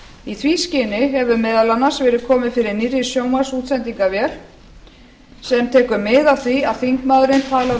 í því skyni hefur meðal annars verið komið fyrir nýrri sjónvarpsútsendingarvél sem tekur mið af því að þingmaðurinn talar úr